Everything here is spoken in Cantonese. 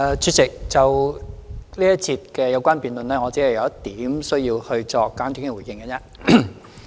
主席，就這一節的有關辯論，我只有一點需要作簡短回應。